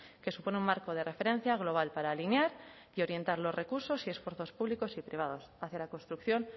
que supone un marco de referencia global para alinear y orientar los recursos y esfuerzos públicos y privados hacia la construcción